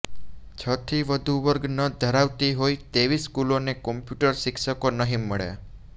છથી વધુ વર્ગ ન ધરાવતી હોય તેવી સ્કૂલોને કમ્પ્યુટર શિક્ષકો નહિ મળે